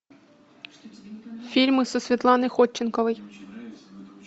фильмы со светланой ходченковой